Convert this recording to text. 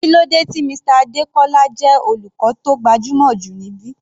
Kílódé tí Mr Adekola jẹ́ olùkọ́ tó gbajúmọ̀ jù níbí?